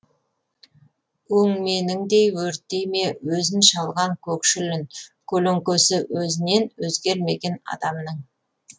өңменіңдей өртей ме өзін шалған көкшіл үн көлеңкесі өзінен өзгермеген адамның